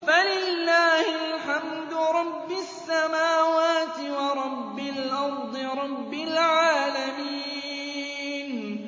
فَلِلَّهِ الْحَمْدُ رَبِّ السَّمَاوَاتِ وَرَبِّ الْأَرْضِ رَبِّ الْعَالَمِينَ